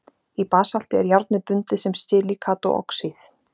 í basalti er járnið bundið sem silíkat og oxíð